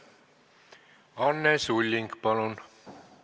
Anne Sulling, palun!